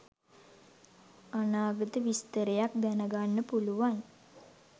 අනාගත විස්තරයක් දැනගන්න පුලුවන්.